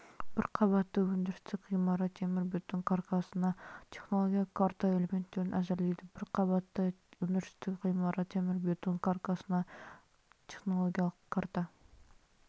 бір қабатты өндірістік ғимарат темірбетон каркасына технологиялық карта элементтерін әзірлейді бір қабатты өндірістік ғимарат темірбетон каркасына технологиялық карта